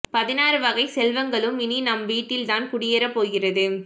பதினாறு வகை செல்வங்களும் இனி நம் வீட்டில் தான் குடியேற போகிறது